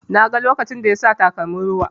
Na ga lokacin da yasa takalmin ruwa.